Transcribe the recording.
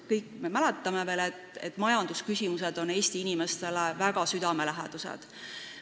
Kõik me mäletame, et majandusküsimused on Eesti inimestele väga südamelähedased.